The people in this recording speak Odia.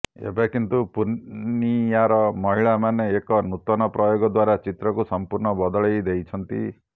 ଏବେ କିନ୍ତୁ ପୂର୍ଣ୍ଣିୟାର ମହିଳାମାନେ ଏକ ନୂତନ ପ୍ରୟୋଗ ଦ୍ୱାରା ଚିତ୍ରକୁ ସମ୍ପୂର୍ଣ୍ଣ ବଦଳେଇ ଦେଇଛନ୍ତି